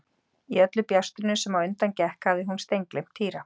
Í öllu bjástrinu sem á undan gekk hafði hún steingleymt Týra.